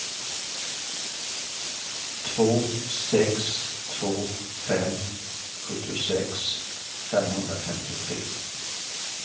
två sex två fem sjuttiosex femhundrafemtiotre